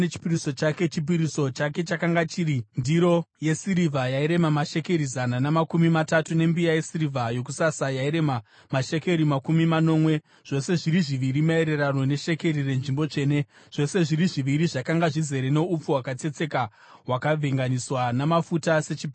Chipiriso chake chakanga chiri ndiro yesirivha yairema mashekeri zana namakumi matatu, nembiya yesirivha yokusasa yairema mashekeri makumi manomwe, zvose zviri zviviri maererano neshekeri renzvimbo tsvene, zvose zviri zviviri zvakanga zvizere noupfu hwakatsetseka hwakavhenganiswa namafuta sechipiriso chezviyo;